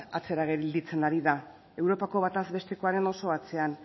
atzera gelditzen ari da europako batez bestekoaren oso atzean